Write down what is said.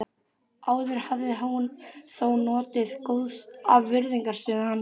Áður hafði hún þó notið góðs af virðingarstöðu hans.